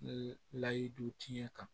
Layidu tiɲɛ kan